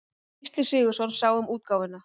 Gísli Sigurðsson sá um útgáfuna.